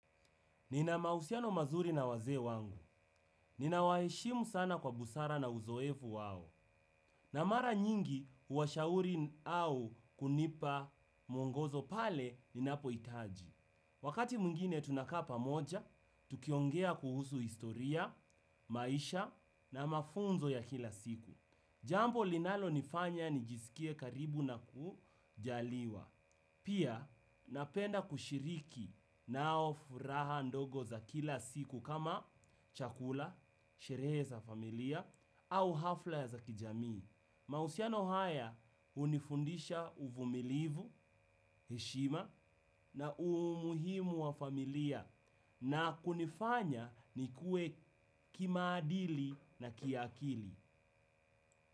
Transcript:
Nina mahusiano mazuri na wazee wangu. Nina waheshimu sana kwa busara na uzoefu wao. Na mara nyingi uwashauri au kunipa mwongozo pale ninapo itaji. Wakati mwingine tunakaa pamoja, tukiongea kuhusu historia, maisha na mafunzo ya kila siku. Jambo linalo nifanya nijisikie karibu na kujaliwa. Pia napenda kushiriki nao furaha ndogo za kila siku kama chakula, sherehe za familia au hafla za kijamii. Mahusiano haya unifundisha uvumilivu, heshima na umuhimu wa familia na kunifanya nikue kimaadili na kiakili.